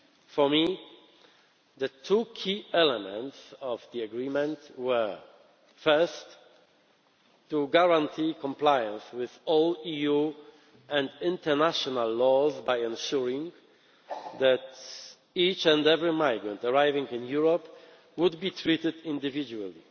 For me, the two key elements of the agreement were first, to guarantee compliance with all EU and international laws by ensuring that each and every migrant arriving in Europe would be treated individually.